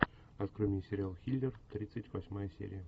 открой мне сериал хилер тридцать восьмая серия